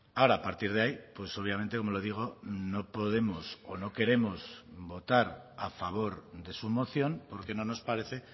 ahora a partir de ahí pues obviamente como le digo no podemos o no queremos votar a favor de su moción porque no nos parece